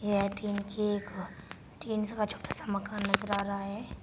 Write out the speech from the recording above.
Canteen के tin का छोटा सा मकान नजर आ रहा है।